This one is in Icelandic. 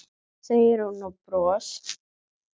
segir hún og bros